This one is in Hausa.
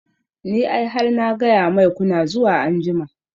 Ni ai har na gaya mai kuna zuwa anjima